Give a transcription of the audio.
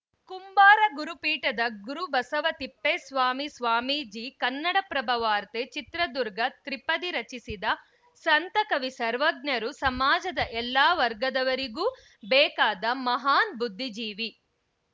ಕುಂಬಾರ ಗುರು ಪೀಠದ ಗುರುಬಸವ ತಿಪ್ಪೇಸ್ವಾಮಿ ಸ್ವಾಮೀಜಿ ಕನ್ನಡಪ್ರಭ ವಾರ್ತೆ ಚಿತ್ರದುರ್ಗ ತ್ರಿಪದಿ ರಚಿಸಿದ ಸಂತ ಕವಿ ಸರ್ವಜ್ಞರು ಸಮಾಜದ ಎಲ್ಲ ವರ್ಗದವರಿಗೂ ಬೇಕಾದ ಮಹಾನ್‌ ಬುದ್ದಿಜೀವಿ